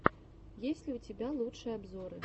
есть ли у тебя лучшие обзоры